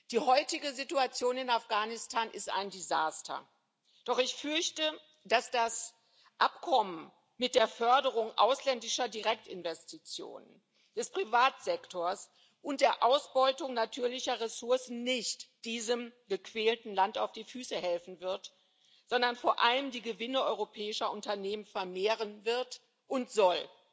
Die heutige Situation in Afghanistan ist ein Desaster, doch ich fürchte, dass das Abkommen mit der Förderung ausländischer Direktinvestitionen, des Privatsektors und der Ausbeutung natürlicher Ressourcen nicht diesem gequälten Land auf die Füße helfen wird, sondern vor allem die Gewinne europäischer Unternehmen vermehren wird und soll.